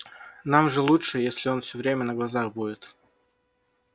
нам же лучше если он всё время на глазах будет